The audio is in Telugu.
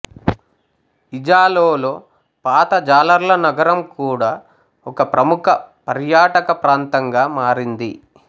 ఇజాలోలో పాత జాలర్ల నగరం కూడా ఒక ప్రముఖ పర్యాటక ప్రాంతంగా మారింది